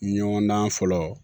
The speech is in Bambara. Ɲɔgɔn dan fɔlɔ